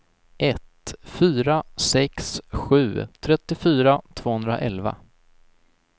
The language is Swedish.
ett fyra sex sju trettiofyra tvåhundraelva